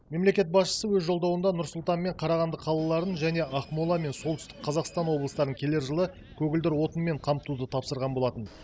мемлекет басшысы өз жолдауында нұр сұлтан мен қарағанды қалаларын және ақмола мен солтүстік қазақстан облыстарын келер жылы көгілдір отынмен қамтуды тапсырған болатын